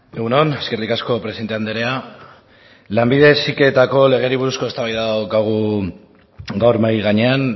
egun on eskerrik asko presidente andrea lanbide heziketari buruzko eztabaida daukagu gaur mahai gainean